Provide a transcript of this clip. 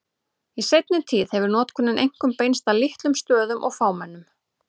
Í seinni tíð hefur notkunin einkum beinst að litlum stöðum og fámennum.